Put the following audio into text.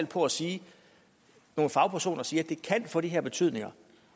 på at sige at nogle fagpersoner siger at det kan få de her betydninger